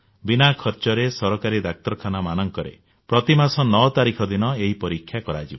ବିନା ଖର୍ଚ୍ଚରେ ସରକାରୀ ଡାକ୍ତରଖାନାମାନଙ୍କରେ ପ୍ରତିମାସ 9 ତାରିଖ ଦିନ ଏହି ପରୀକ୍ଷା କରାଯିବ